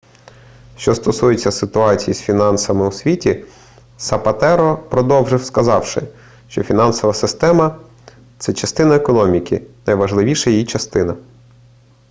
що стосується ситуації з фінансами у світі сапатеро продовжив сказавши що фінансова система це частина економіки найважливіша її частина